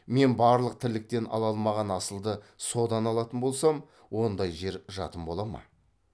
мен барлық тірліктен ала алмаған асылды содан алатын болсам ондай жер жатым бола ма